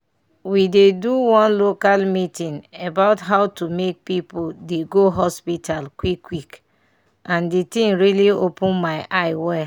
we dey do one local meeting about how to make people dey go hospital quick quick and the thing really open my eye wel.